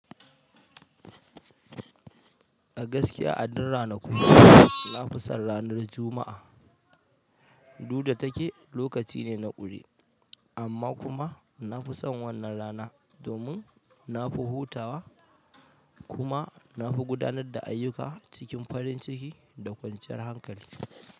A gaskiya, a din ranaku na fi son ranar Juma'a. Du da take lokacine na ƙure amma kuma nafison wannan rana domin nafi hutawa kuma nafi gudanan da ayyuka cikin farinciki da kwanciyar hankali.